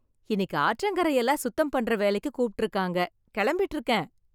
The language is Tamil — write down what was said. இன்னைக்கு ஆற்றங்கரை எல்லாம் சுத்தம் பண்ற வேலைக்கு கூப்டுருக்காங்க இருக்காங்க, கெளம்பிட்டு இருக்கேன்.